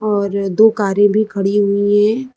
और दो कारे भी खड़ी हुई है।